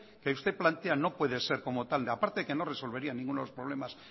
que usted plantea no puede ser como tal a parte que no resolvería ninguno de los problemas